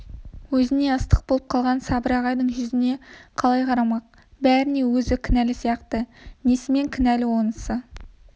өзіне ыстық болып қалған сабыр ағайдың жүзіне қалай қарамақ бәріне өзі кінәлі сияқты несімен кінәлі онысы